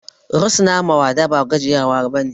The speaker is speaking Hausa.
Rusuna ma wada ba gajiya bane